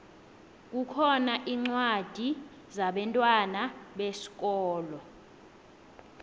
kukhona incwadi zabentwana besikolo